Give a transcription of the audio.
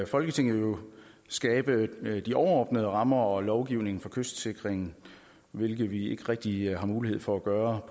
folketinget skabe de overordnede rammer og lovgivning for kystsikringen hvilket vi ikke rigtig har mulighed for at gøre